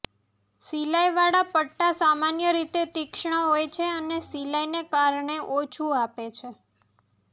સિલાઇવાળા પટ્ટા સામાન્ય રીતે તીક્ષ્ણ હોય છે અને સિલાઇને કારણે ઓછું આપે છે